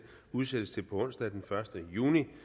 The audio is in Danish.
udsættes til på onsdag den første juni